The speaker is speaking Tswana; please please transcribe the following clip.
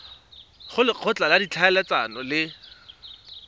go lekgotla la ditlhaeletsano le